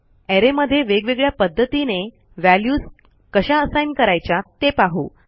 arrayमध्ये वेगवेगळ्या पध्दतीने व्हॅल्यूज कशा असाइन करायच्या ते पाहू